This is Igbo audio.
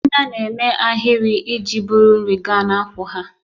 Ndanda na-eme ahịrị iji buru nri gaa n'akwụ́ ha.